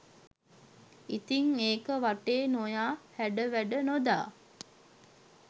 ඉතින් ඒක වටේ නොයා හැඩ වැඩ නොදා